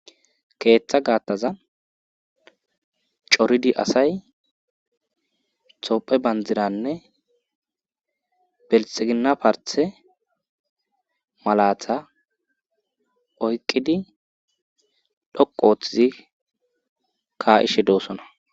keeththa gaattaza coridi asay tophe bandiranne belxigina parthe malata oyqqidi dhoqu ooththizi ka7ishe doosona